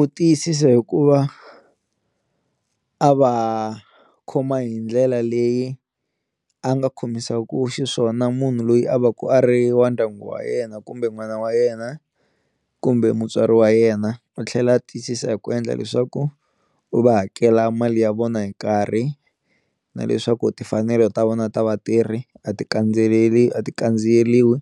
U tiyisisa hi ku va a va khoma hi ndlela leyi a nga khomisaku xiswona munhu loyi a va ka a ri wa ndyangu wa yena kumbe n'wana wa yena kumbe mutswari wa yena, a tlhela a tiyisisa hi ku endla leswaku u va hakela mali ya vona hi nkarhi na leswaku timfanelo ta vona ta vatirhi a ti kandziyeleli a ti kandziyeliwi